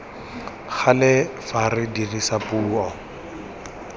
gale fa re dirisa puo